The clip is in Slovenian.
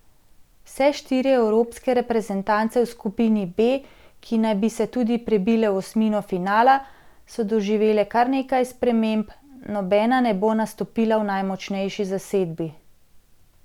Vse štiri evropske reprezentance v skupini B, ki naj bi se tudi prebile v osmino finala, so doživele kar nekaj sprememb, nobena ne bo nastopila v najmočnejši zasedbi.